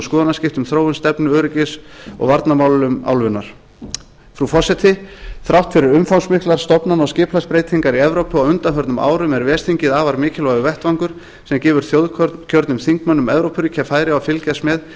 skoðanaskipti um þróun stefnu í öryggis og varnarmálum álfunnar frú forseti þrátt fyrir umfangsmiklar stofnana og skipulagsbreytingar í evrópu á undanförnum árum er ves þingið afar mikilvægur vettvangur sem gefur þjóðkjörnum þingmönnum evrópuríkja færi á að fylgjast með